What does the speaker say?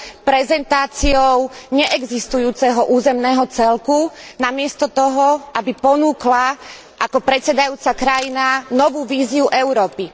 prezentáciou neexistujúceho územného celku namiesto toho, aby ponúkla ako predsedajúca krajina novú víziu Európy.